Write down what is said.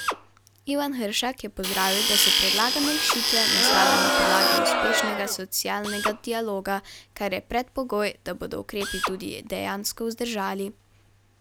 Ivan Hršak je pozdravil, da so predlagane rešitve nastale na podlagi uspešnega socialnega dialoga, kar je predpogoj, da bodo ukrepi tudi dejansko vzdržali.